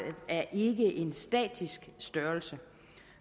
er ikke en statisk størrelse